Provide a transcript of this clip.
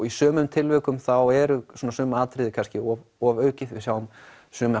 í sumum tilvikum þá eru sum atriði kannski ofaukið við sjáum suma